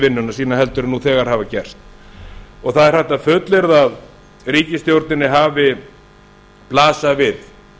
vinnuna sína heldur en nú þegar hefur gerst það er hægt að fullyrða að við ríkisstjórninni hafi blasað við